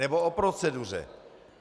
Nebo o proceduře.